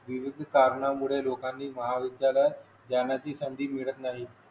विविध कारणांमुळे लोकांनी महाविद्यालयात जाण्याची संधी मिळत नाही